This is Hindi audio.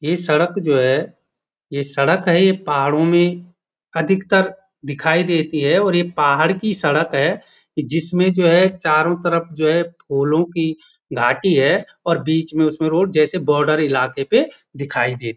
ये सड़क जो है ये सड़क है ये पहाड़ों में अधिकतर दिखाई देती है और ये पहाड़ की सड़क है जिसमें जो है चारों तरफ जो है फूलों की घाटी है और बीच में उसमें रोड जैसे बॉडर इलाके पे दिखाई दे--